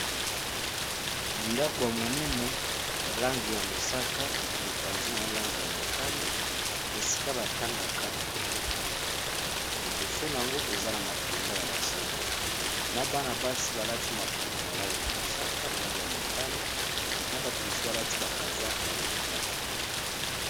ndako ya monene lange ya mosaka na mipanzi na molange ya motani esika batangaka babuku. liboso na yango eza na mapinga ya basoda na bana basi balati maputa ya lange ya mosaka na lange ya motani na bato misu balati bakazaka bazotambola